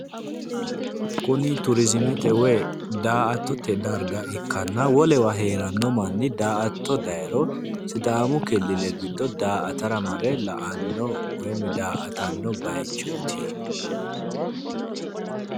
Kuni turizimete woyi daa'attote darga ikkanna wolewa heeranno manni daa'atto dayiro sidaamu killile giddo daa'atara mare la'anno woyimmi daa'atanno bayichooti